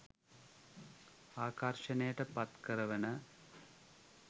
ආකර්ෂණයට පත්කරවන